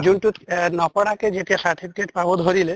যোনটোত এহ নপঢ়াকে যেতিয়া certificate পাব ধৰিলে